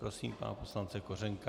Prosím pana poslance Kořenka.